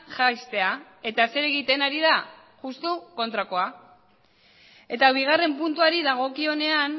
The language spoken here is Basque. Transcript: jaistea eta zer egiten ari da justu kontrakoa eta bigarren puntuari dagokionean